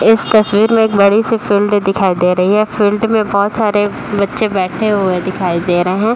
एक तस्वीर में एक बड़ी सी फील्ड दिखाई दे रही है। फील्ड में बहोत सारे बच्चे बैठे हुए दिखाई दे रहे हैं।